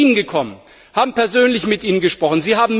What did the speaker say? Wir sind zu Ihnen gekommen und haben persönlich mit Ihnen gesprochen.